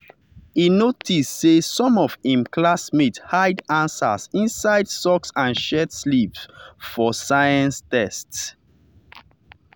e notice say some of im classmates hide answers inside socks and shirt sleeve for science test.